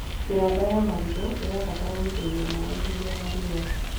Mĩramba ya marigũ ĩbataraga gũitĩrĩrio maĩ hingo ya riũa